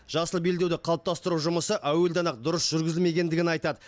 жасыл белдеуді қалыптастыру жұмысы әуелден ақ дұрыс жүргізілмегенін айтады